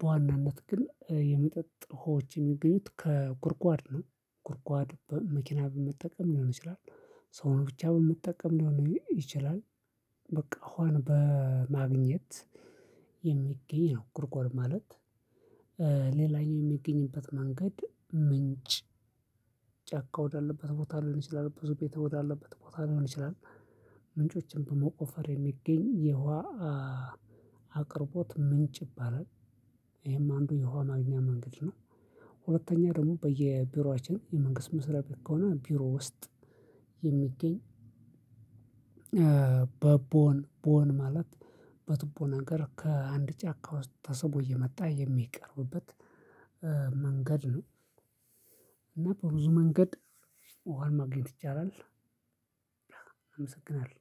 በዋናነት ግን የመጠጥ ሆዎች የሚገኙት ከጉርጓድ ነው። ጉርጓድ መኪና በመጠቀም ሊሆን ይችላል። ሰውን ብቻ በመጠቀም ሊሆን ይችላል። በቃ እሁዋን በማግኘት የሚገኝ ነው። ጉድጓድ ማለት ሌላኛው የሚገኝበት መንገድ ምንጭ። ጫካ ወዳለበት ቦታ ሊሆን ይችላል ብዙ ቤት ወዳለበት ቦታ ሊሆን ይችላል። ምንጮችን በመቆፈር የሚገኝ የውሃ አቅርቦት ምንጭ ይባላል። ይሄም አንዱ የውሃ ማግኛ መንገድ ነው። ሁለተኛ ደግሞ በየቢሮአችን የመንግስት መስሪያ ቤት ከሆነ ቢሮ ውስጥ የሚገኝ በቦን ቦን ማለት በትቦ ነገር ከአንድ ጫካ ውስጥ ተስቦ እየመጣ የሚቀርብበት መንገድ ነው። እና በብዙ መንገድ ወር ማግኘት ይቻላል። አመሰግናለሁ